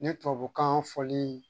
Ni tubabukan fɔli